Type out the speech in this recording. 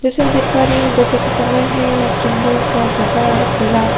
जैसे मैं देख पा रहै है ये दोपहर का समय है और सुन्दर सा जगह है खुला--